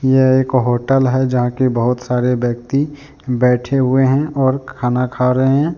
यह एक होटल है जहां के बहुत सारे व्यक्ति बैठे हुए हैं और खाना खा रहे हैं।